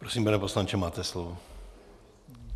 Prosím, pane poslanče, máte slovo.